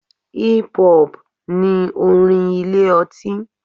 Hip-hop ni orin ilé ọtí.